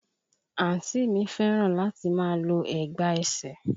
Àǹtí mi fẹ́ràn láti máa lo ẹ̀gbà ẹsẹ̀